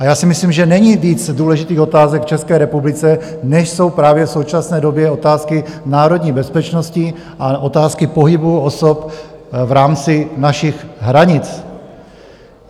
A já si myslím, že není víc důležitých otázek v České republice, než jsou právě v současné době otázky národní bezpečnosti a otázky pohybu osob v rámci našich hranic.